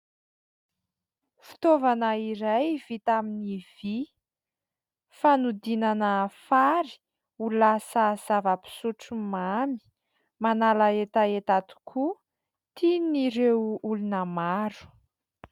Fitaovana iray vita amin'ny vy. Fanodinana fary ho lasa zava-pisotro mamy. Manala hetaheta tokoa, tian'ireo olona maro.